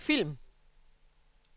film